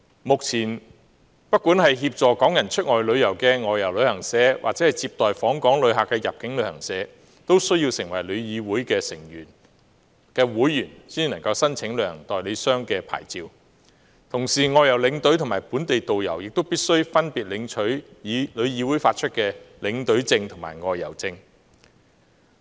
目前，不管是協助港人出外旅遊的外遊旅行社或接待訪港旅客的入境旅行社，均須成為旅議會的會員才能申請旅行社代理商的牌照，同時外遊領隊及本地導遊亦必須分別取得旅議會發出的領隊證和導遊證。